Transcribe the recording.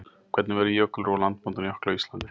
hvernig verður jökulrof og landmótun jökla á íslandi